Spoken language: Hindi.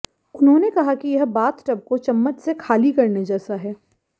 उन्होंने कहा कि यह बाथ टब को चम्मच से खाली करने जैसा है